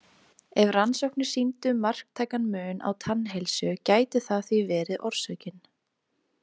Ef rannsóknir sýndu marktækan mun á tannheilsu gæti það því verið orsökin.